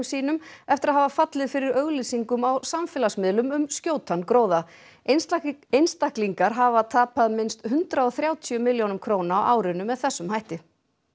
sínum eftir að hafa fallið fyrir auglýsingum á samfélagsmiðlum um skjótan gróða einstaklingar einstaklingar hafa tapað minnst hundrað og þrjátíu milljónum króna á árinu með þessum hætti